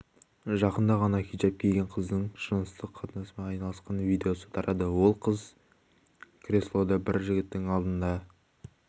жақында ғана хиджап киген қыздың жыныстық қатынаспен айналысқан видеосы тарады онда қыз креслода бір жігіттің алдында